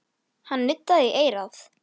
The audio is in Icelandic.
Hann benti Tinnu á það.